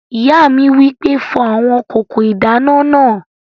Ìyá mi wí pé "fọ àwọn kòkò ìdáná náà!"